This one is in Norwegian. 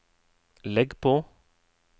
legg på